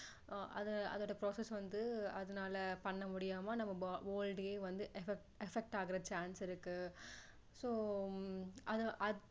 அது அதோட process வந்து அதனால பண்ண முடியாம நம்ம whole day வந்து affect affect ஆகுற chance இருக்கு so அதுதான்